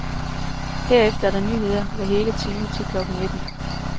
Herefter er der nyheder hver hele time til klokken nitten.